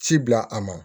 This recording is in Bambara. Ci bila a ma